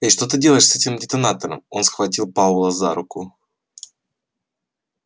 эй что ты делаешь с этим детонатором он схватил пауэлла за руку